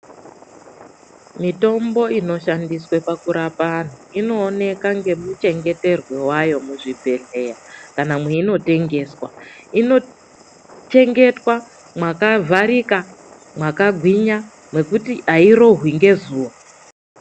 Mitombo ino shandiswa pakurapa antu inooneka ngemu chengeterwe wayo muzvibhedhleya kana meino tengeswa. Ino chengetwa makavharika, mwakagwinya mwekuti hairohwi ngezuva.